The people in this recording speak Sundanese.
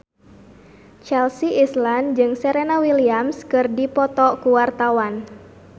Chelsea Islan jeung Serena Williams keur dipoto ku wartawan